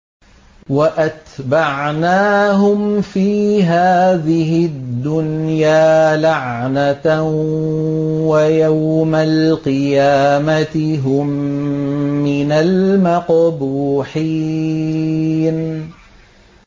وَأَتْبَعْنَاهُمْ فِي هَٰذِهِ الدُّنْيَا لَعْنَةً ۖ وَيَوْمَ الْقِيَامَةِ هُم مِّنَ الْمَقْبُوحِينَ